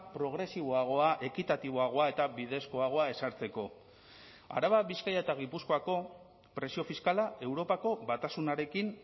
progresiboagoa ekitatiboagoa eta bidezkoagoa ezartzeko araba bizkaia eta gipuzkoako presio fiskala europako batasunarekin